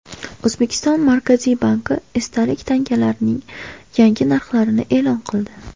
O‘zbekiston Markaziy banki esdalik tangalarning yangi narxlarini e’lon qildi.